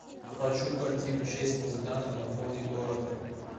хочу картину шесть музыкантов на фоне города